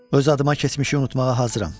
Öz adıma keçmişi unutmağa hazıram.